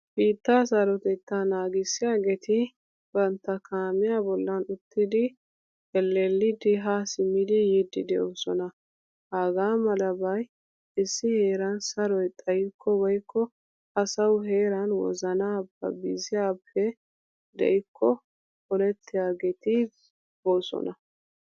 Biitta sarotetta naagisiyaageti bantta kaamiya bollan uttidi elellidi ha simidi yiidi de'osona. Hagamalabay issi heeran saroy xayikko woykko asawu heeran wozana babiziyappe de'ikko olettiyageti boosona.